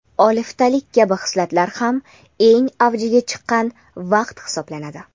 oliftalik kabi hislatlar ham eng avjiga chiqqan vaqt hisoblanadi.